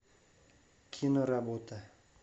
киноработа